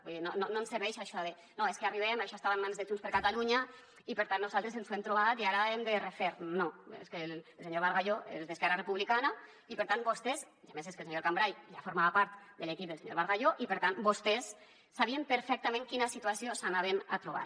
vull dir no ens serveix això de no és que arribem això estava en mans de junts per catalunya i per tant nosaltres ens ho hem trobat i ara hem de refer no és que el senyor bargalló és d’esquerra republicana i per tant vostès i a més és que el senyor cambray ja formava part de l’equip del senyor bargalló sabien perfectament quina situació s’anaven a trobar